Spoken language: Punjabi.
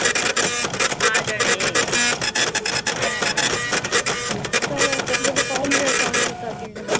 ਚਲੋ ਪਹੁੰਚ ਗਿਆ ਕੰਮ। ਫਿਰ ਕਰਦੇ ਆਂ ਗੱਲਾਂ।